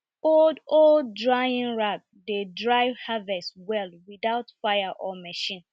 old old drying rack dey dry harvest well without fire or machine